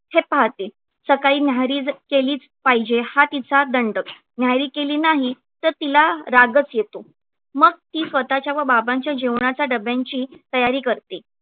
हे पाहते सकाळी न्याहारी केलीच पाहिजे हा तिचा दंडक न्याहारी केली नाही तर तिला रागच येतो. मग ती स्वतःच्या व बाबांच्या जेवणाच्या डब्यांची तयारी करते.